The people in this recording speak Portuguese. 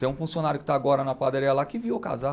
Tem um funcionário que está agora na padaria lá que viu eu casar.